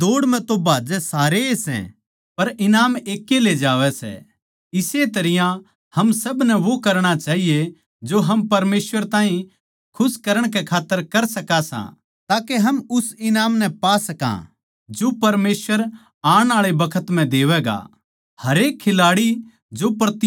के थमनै न्ही बेरा के दौड़ म्ह तो भाजै सारे ए सै पर ईनाम एक ए ले जावै सै इस्से तरियां हम सब नै वो करणा चाहिए जो हम परमेसवर ताहीं खुश करण कै खात्तर कर सका सां ताके हम उस ईनाम नै पा सका जो परमेसवर आण आळे बखत म्ह देवैगा